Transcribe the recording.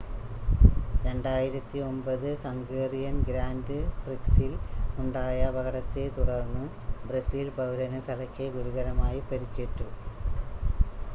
2009 Hungarian grand പ്രിക്സിൽ ഉണ്ടായ അപകടത്തെ തുടർന്ന് ബ്രസീൽ പൗരന് തലയ്ക്ക് ഗുരുതരമായി പരുക്കേറ്റു